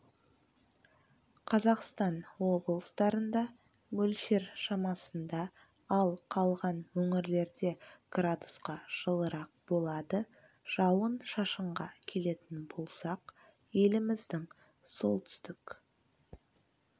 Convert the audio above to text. қазақстан облыстарында мөлшер шамасында ал қалған өңірлерде градусқа жылырақ болады жауын-шашынға келетін болсақ еліміздің солтүстік